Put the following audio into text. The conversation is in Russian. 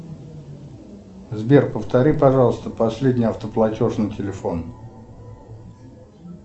сбер повтори пожалуйста последний автоплатеж на телефон